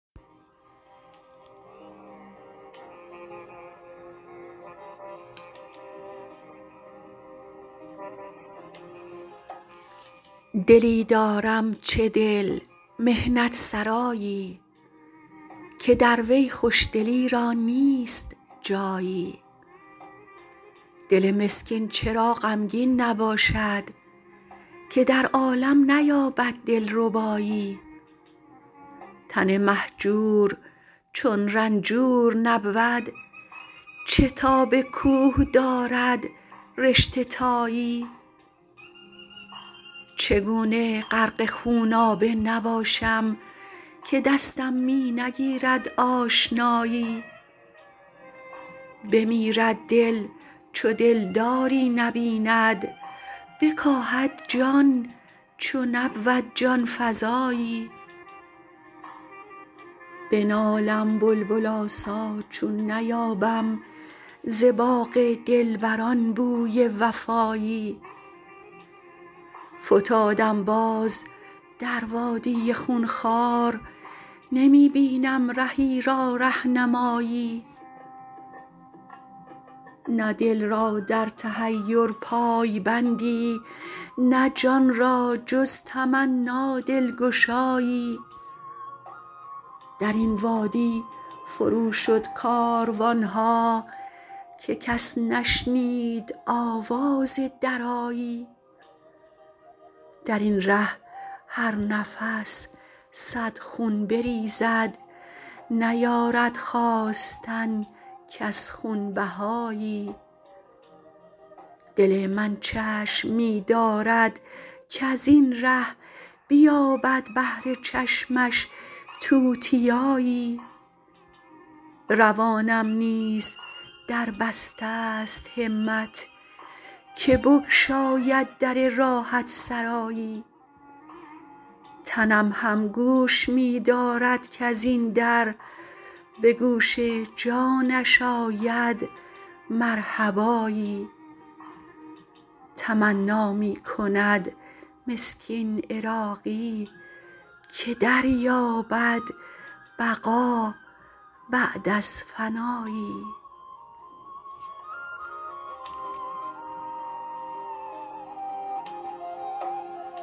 دلی دارم چه دل محنت سرایی که در وی خوشدلی را نیست جایی دل مسکین چرا غمگین نباشد که در عالم نیابد دل ربایی تن مهجور چون رنجور نبود چه تاب کوه دارد رشته تایی چگونه غرق خونابه نباشم که دستم می نگیرد آشنایی بمیرد دل چو دلداری نبیند بکاهد جان چو نبود جان فزایی بنالم بلبل آسا چون نیابم ز باغ دلبران بوی وفایی فتادم باز در وادی خون خوار نمی بینم رهی را رهنمایی نه دل را در تحیر پای بندی نه جان را جز تمنی دلگشایی درین وادی فرو شد کاروان ها که کس نشنید آواز درایی درین ره هر نفس صد خون بریزد نیارد خواستن کس خونبهایی دل من چشم می دارد کزین ره بیابد بهر چشمش توتیایی روانم نیز در بسته است همت که بگشاید در راحت سرایی تنم هم گوش می دارد کزین در به گوش جانش آید مرحبایی تمنا می کند مسکین عراقی که دریابد بقا بعد از فنایی